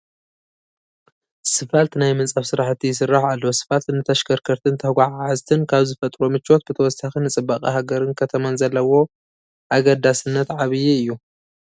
ስፋልት ናይ ምንፃፍ ስራሕቲ ይስራሕ ኣሎ፡፡ ስፋልት ንተሽከርከርትን ተጓዓዓዝትን ካብ ዝፈጥሮ ምቾት ብተወሳኺ ንፅባቐ ሃገርን ከተማን ዘለዎ ኣገዳስነት ዓብዪ እዩ፡፡